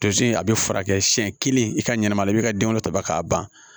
Tozo in a bɛ furakɛ siɲɛ kelen i ka ɲɛnamaya i bɛ ka den wolo tɔba k'a ban